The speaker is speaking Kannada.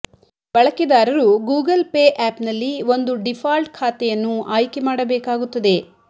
ಬಳಕೆದಾರರು ಗೂಗಲ್ ಪೇ ಆ್ಯಪ್ನಲ್ಲಿ ಒಂದು ಡಿಫಾಲ್ಟ್ ಖಾತೆಯನ್ನು ಆಯ್ಕೆ ಮಾಡಬೇಕಾಗುತ್ತದೆ